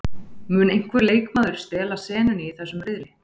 Mun einhver leikmaður stela senunni í þessum riðli?